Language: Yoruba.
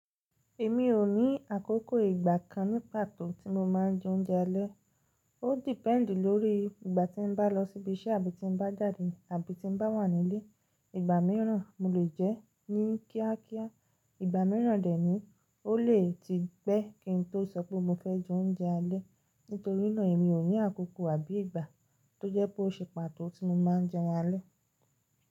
Èmi ò ní àkókò ìgbà kan ní pàtó tí mo máa ń jẹ oúnjẹ alẹ́. Ó depend lórí ìgbà tí n bá lọ síbi iṣẹ́ àbí tí n bá jàdé àbí tí n bá wà nílé. Ìgbà míràn mo lè jẹ ẹ́ ní kíákíá, ìgbà míràn dẹ̀ ní ó lè ti gbẹ́ kí n tó sọ pé mo fẹ́ jẹ oúnjẹ alẹ́. Nítorínà èmi ò ní àkókò àbí ìgbà tó jẹ́ pé ó ṣe pàtó tí mo máa ń jẹun alẹ́.